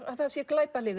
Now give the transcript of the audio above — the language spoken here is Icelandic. að það sé